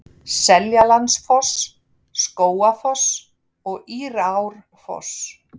Seljalandsfoss, Skógafoss og Írárfoss.